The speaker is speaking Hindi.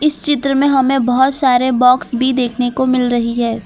इस चित्र में हमें बहोत सारे बॉक्स भी देखने को मिल रही है।